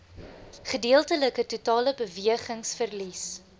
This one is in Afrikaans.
gedeeltelike totale bewegingsverlies